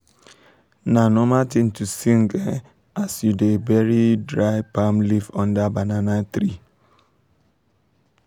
na normal tin to sing um as u da um bury dry palm leave under banana tree um